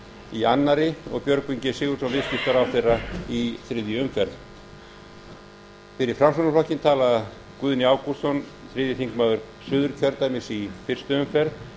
í annarri og björgvin g sigurðsson viðskiptaráðherra í þriðju umferð fyrir framsóknarflokkinn talar guðni ágústsson þriðji þingmaður suðurkjördæmis í fyrstu umferð